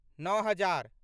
नओ हजार